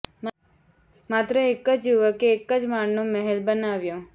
માત્ર એક જ યુવકે એક જ માળનો મહેલ બનાવ્યો